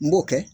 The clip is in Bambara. N b'o kɛ